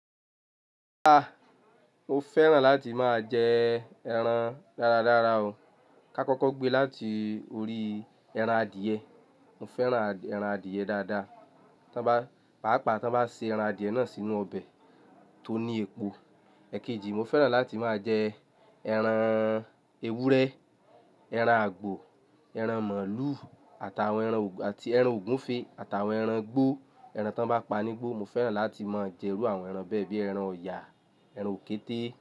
Rárá, mo fẹ́ràn láti máa jẹ ẹran dáradára o. Ka kọ́kọ́ gbe láti orí ẹran adìyẹ. Mo fẹ́ran ẹran adìyẹ dáadáa. Pàápàá tán bá ṣe ẹran adìẹ náà sínú ọbẹ̀ tó ní epo. Èkejì mo fẹ́ràn láti máa jẹ ẹran ewúrẹ́, ẹran àgbò, ẹran màlúù àti ẹran ògúnfe àti àwọn ẹran igbó, ẹran tán bá pani gbó. Mo fẹ́ràn láti máa jẹ irú àwọn ẹran bẹ́ẹ̀ bíi ẹran ọ̀yà, ẹran òkété.